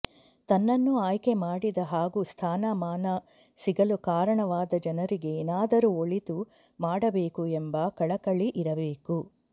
ತನ್ನನ್ನು ಆಯ್ಕೆ ಮಾಡಿದ ಹಾಗೂ ಸ್ಥಾನ ಮಾನ ಸಿಗಲು ಕಾರಣವಾದ ಜನರಿಗೆ ಏನಾದರೂ ಒಳಿತು ಮಾಡಬೇಕು ಎಂಬ ಕಳಕಳಿ ಇರಬೇಕು